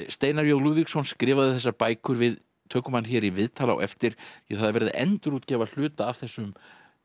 Steinar j Lúðvíksson skrifaði þessar bækur við tökum hann hér í viðtal á eftir því það er verið að endurútgefa hluta af þessum